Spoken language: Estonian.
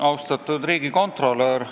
Austatud riigikontrolör!